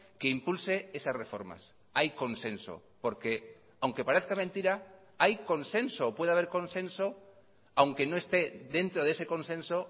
que impulse esas reformas hay consenso porque aunque parezca mentira hay consenso puede haber consenso aunque no esté dentro de ese consenso